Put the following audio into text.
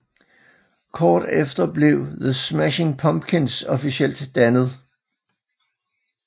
Kort efter blev The Smashing Pumpkins officielt dannet